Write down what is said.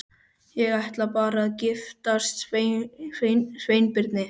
Ég ætla bara að giftast Sveinbirni